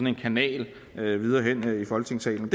en kanal her i folketingssalen